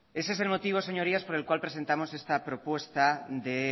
ese es el motivo señorías por el cual presentamos esta propuesta de